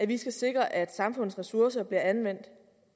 vi skal sikre at samfundets ressourcer bliver anvendt